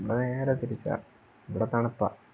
ഇവിടെ ഭയങ്കര തണുപ്പാ ഇവിടെ തണുപ്പാ